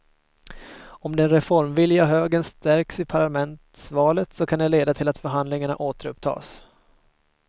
Om den reformvilliga högern stärks i parlamentsvalet så kan det leda till att förhandlingarna återupptas.